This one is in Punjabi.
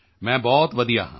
ਮੈਂ ਬਹੁਤ ਵਧੀਆ ਹਾਂ